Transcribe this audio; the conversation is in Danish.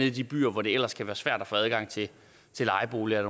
i de byer hvor det ellers kan være svært at få adgang til lejeboliger er